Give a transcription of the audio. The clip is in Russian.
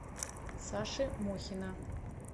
саши мухина